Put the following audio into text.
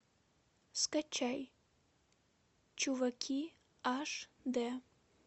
скачай чуваки аш дэ